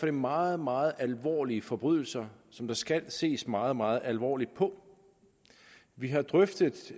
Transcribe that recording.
det meget meget alvorlige forbrydelser som der skal ses meget meget alvorligt på vi har drøftet